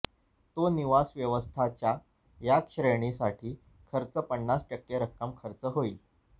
तो निवास व्यवस्था च्या या श्रेणीसाठी खर्च पन्नास टक्के रक्कम खर्च होईल